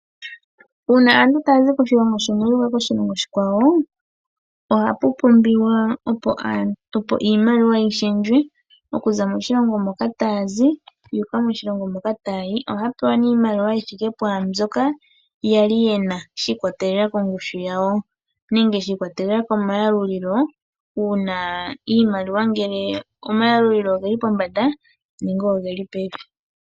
Uuna aantu taazi koshilongo shimwe ya uka koshilongo oshikwawo ohapu pumbwa opo iimaliwa yi shendjele okuza moshilingo moka taya zi yuuka moshilingo moka taya yi ohaa pewa iimaliwa yi thike pwaa mbyoka yali yena shiikwatelela kongushu yawo nenge shiikwatelela komayalulilo iimaliwa ngele komayalulilo oheli pombanda nenge ogeli pevi.